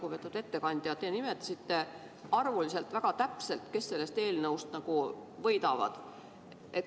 Lugupeetud ettekandja, te nimetasite arvuliselt väga täpselt, kes sellest eelnõust võidavad.